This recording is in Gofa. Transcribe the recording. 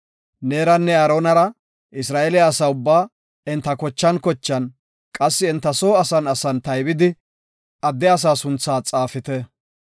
“Neeranne Aaronara Isra7eele asa ubbaa enta kochan kochan, qassi enta soo asan asan taybadi, adde asaa sunthaa xaafite.